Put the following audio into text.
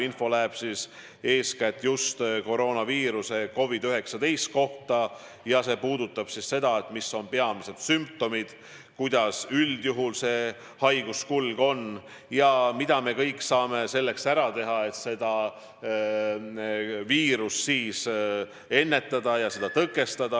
Info puudutab eeskätt just koroonahaigust COVID-19: mis on peamised sümptomid, kuidas üldjuhul haiguskulg on ja mida me kõik saame selleks ära teha, et seda haigust ennetada ja viiruse levikut tõkestada.